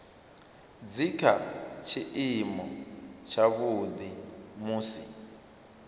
dzi kha tshiimo tshavhuḓi musi